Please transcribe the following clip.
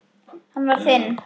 Hann var þinn.